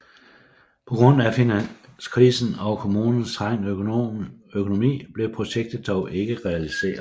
På grund af finanskrisen og kommunens trængte økonomi blev projektet dog ikke realiseret